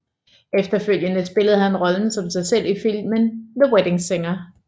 Efterfølgende spillede han rollen som sig selv i filmen The Wedding Singer